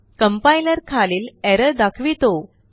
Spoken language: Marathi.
Complierखालील एरर दाखवितो